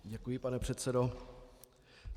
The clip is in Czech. Děkuji, pane předsedo.